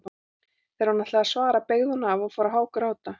Þegar hún ætlaði að svara beygði hún af og fór að hágráta.